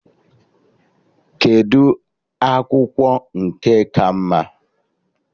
Kedụ akwụkwọ nke ka mma?